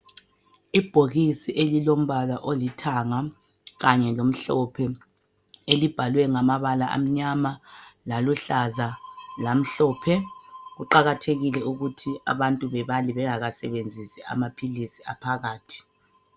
Ibhokisi elilombala olithanga kanye lomhlophe elibhalwe ngamabala amnyama laluhlaza lamhlophe. Kuqakathekile ukuthi abantu bebale bengakasebenzisi amaphilisi aphakathi.